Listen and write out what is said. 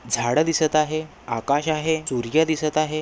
झाड दिसत आहे आकाश आहे सूर्य दिसत आहे.